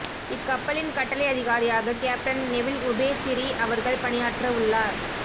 இக் கப்பலின் கட்டளை அதிகாரியாக கேப்டன் நெவில் உபேசிரி அவர்கள் பணியாற்ற உள்ளார்